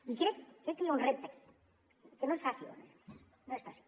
i crec que hi ha un repte aquí que no és fàcil a més a més no és fàcil